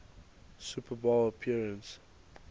super bowl appearance